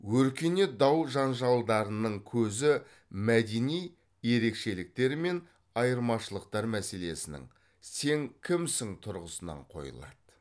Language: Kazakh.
өркениет дау жанжалдарының көзі мәдени ерекшеліктер мен айырмашылықтар мәселенің сен кімсің тұрғысынан қойылады